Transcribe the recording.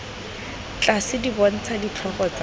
tlase di bontsha ditlhogo tsa